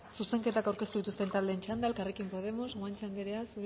zuzenketak aurkeztu dituzten taldeen txanda elkarrekin podemos guanche anderea